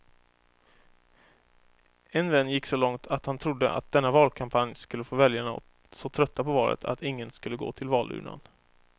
En vän gick så långt att han trodde att denna valkampanj skulle få väljarna så trötta på valet att ingen skulle gå till valurnan.